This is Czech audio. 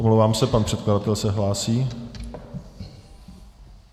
Omlouvám se, pan předkladatel se hlásí.